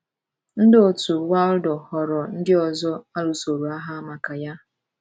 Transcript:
* Ndị òtù Waldo ghọrọ ndị ọzọ a lụsoro agha maka ya.